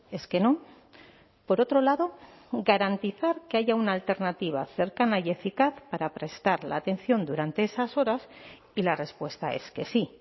es que no por otro lado garantizar que haya una alternativa cercana y eficaz para prestar la atención durante esas horas y la respuesta es que sí